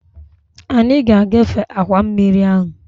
Anyị ga-agafe akwa mmiri ahụ